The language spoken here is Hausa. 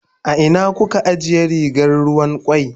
A ina kuka ajiye rigar ruwan kwai?